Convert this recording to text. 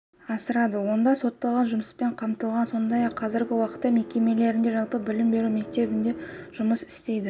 асырады онда сотталған жұмыспен қамтылған сондай-ақ қазіргі уақытта мекемелерінде жалпы білім беру мектебі жұмыс істейді